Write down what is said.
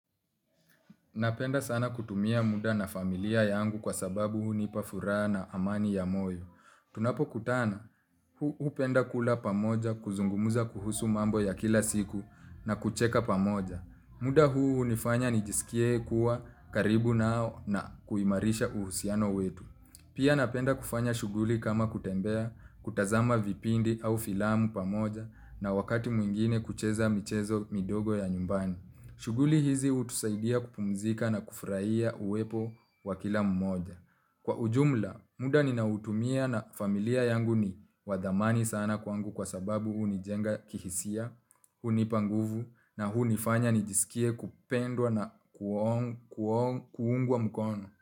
Napenda sana kutumia muda na familia yangu kwa sababu hunipa furaha na amani ya moyo. Tunapo kutana, hupenda kula pamoja kuzungumuza kuhusu mambo ya kila siku na kucheka pamoja. Muda huu unifanya nijisikie kuwa karibu nao na kuimarisha uhusiano wetu. Pia napenda kufanya shughuli kama kutembea, kutazama vipindi au filamu pamoja na wakati mwingine kucheza michezo midogo ya nyumbani. Shughuli hizi utusaidia kupumzika na kufurahia uwepo wakila mmoja. Kwa ujumla, muda ninautumia na familia yangu ni wathamani sana kwangu kwa sababu unijenga kihisia, hunipa nguvu na unifanya nijisikie kupendwa na kuungwa mkono.